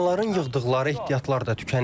İnsanların yığdıqları ehtiyatlar da tükənib.